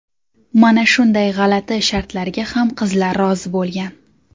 Mana shunday g‘alati shartlarga ham qizlar rozi bo‘lgan.